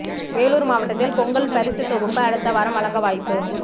வேலூர் மாவட்டத்தில் பொங்கல் பரிசு தொகுப்பு அடுத்த வாரம் வழங்க வாய்ப்பு